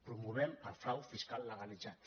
promovem el frau fiscal legalitzat